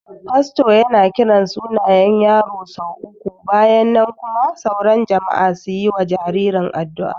Fasto yana kiran sunayen yaro sau uku bayan nan kuma sauran jama'a su yi wa jaririn addu'a